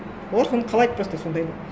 олар соны қалайды просто сондайды